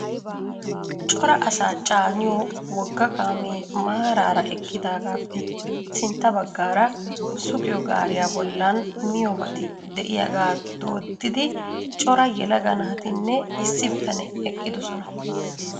Cora asaa caaniyo wogga kaamee maaraara eqqidaagaappe sintta baggaara sugiyo gaariya bollan miyoobati de'iyaagaa dooddidi cora yelaga naatinne issi bitanee eqqidosona.